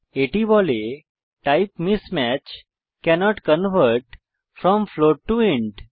এটি বলে type mismatch cannot convert from float to int